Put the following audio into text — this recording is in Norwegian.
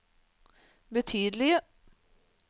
betydelige